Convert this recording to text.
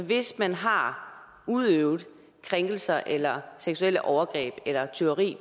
hvis man har udøvet krænkelser eller seksuelle overgreb eller tyveri